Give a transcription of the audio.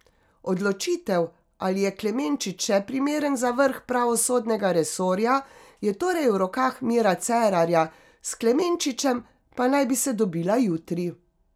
Odločitev, ali je Klemenčič še primeren za vrh pravosodnega resorja, je torej v rokah Mira Cerarja, s Klemenčičem pa naj bi se dobila jutri.